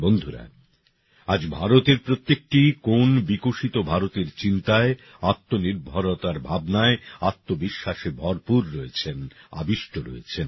বন্ধুরা আজ ভারতের প্রত্যেকটি কোণ বিকশিত ভারতের চিন্তায় আত্মনির্ভতার ভাবনায় আত্মবিশ্বাসে ভরপুর রয়েছেন আবিষ্ট রয়েছেন